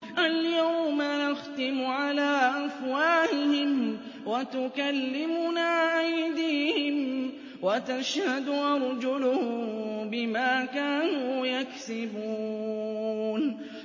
الْيَوْمَ نَخْتِمُ عَلَىٰ أَفْوَاهِهِمْ وَتُكَلِّمُنَا أَيْدِيهِمْ وَتَشْهَدُ أَرْجُلُهُم بِمَا كَانُوا يَكْسِبُونَ